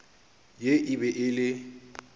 ye e be e le